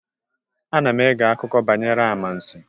Ana m eghe akụkọ banyere amansi